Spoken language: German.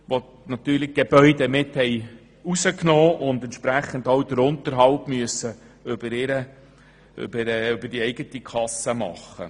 Dabei wurden die Gebäude aus dem Portfolio herausgenommen, und der Unterhalt muss über deren eigene Kasse erfolgen.